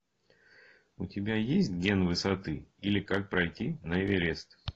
у тебя есть ген высоты или как пройти на эверест